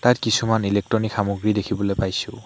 ইয়াত কিছুমান ইলেকট্ৰনিক সামগ্ৰী দেখিবলৈ পাইছোঁ।